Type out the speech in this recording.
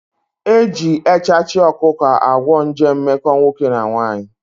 Eji echachị ọkụkọ agwọ nje mmekọ nwoke na nwaanyị